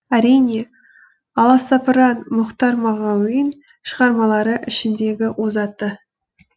әрине аласапыран мұқтар мағауин шығармалары ішіндегі озаты